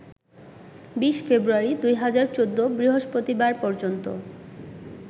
২০ ফেব্রুয়ারি ২০১৪ বৃহস্পতিবার পর্যন্ত